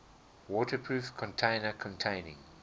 waterproof container containing